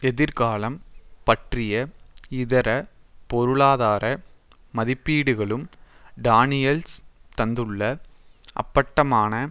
எதிர்காலம் பற்றிய இதர பொருளாதார மதிப்பீடுகளும் டானியல்ஸ் தந்துள்ள அப்பட்டமான